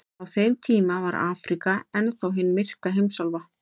Á þeim tíma var Afríka enn þá hin myrka heimsálfa.